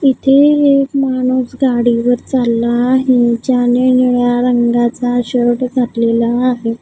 इथे एक माणूस गाडीवर चालला आहे ज्याने निळ्या रंगाचा शर्ट घातलेला आहे.